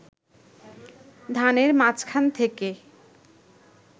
ধানের মাঝখান থেকে